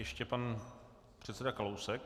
Ještě pan předseda Kalousek.